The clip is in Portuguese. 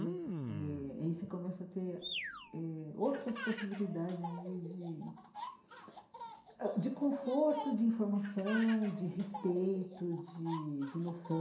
Né eh aí você começa a ter eh outras possibilidades de de ãh de conforto, de informação, de respeito, de de